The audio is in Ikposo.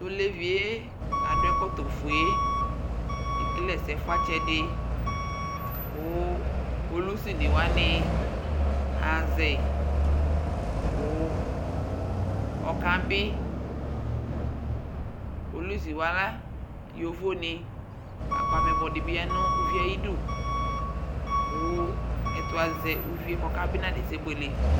Tʋɔlevie kadʋ ɛkɔtɔ fʋee ekele ɛsɛ fʋatsɛdi kʋ polʋsiniwani ahazɛi kʋ ɔkabii polʋsiwa yovoni lakʋ amɛyibɔ dibi yanʋ ʋvie ayidʋ kʋ ɛtʋ azɛ ʋvie kpaa nabuɛ